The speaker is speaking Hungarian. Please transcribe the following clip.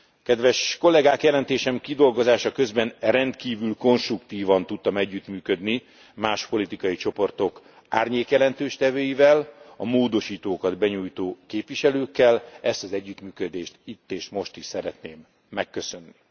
Kedves kollégák, jelentésem kidolgozása közben rendkívül konstruktívan tudtam együttműködni más képviselőcsoportok árnyékelőadóival, a módosítókat benyújtó képviselőkkel ezt az együttműködést itt és most is szeretném megköszönni.